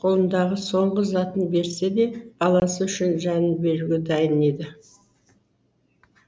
қолындағы соңғы затын берсе де баласы үшін жанын беруге дайын еді